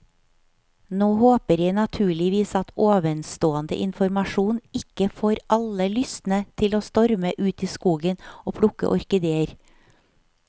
Nå håper jeg naturligvis at ovenstående informasjon ikke får alle lystne til å storme ut i skogen og plukke orkideer.